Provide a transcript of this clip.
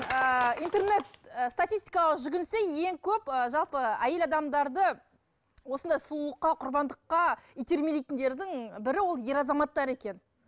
ыыы интернет статистикаға жүгінсе ең көп ы жалпы әйел адамдарды осындай сұлулыққа құрбандыққа итермелейтіндердің бірі ол ер азаматтар екен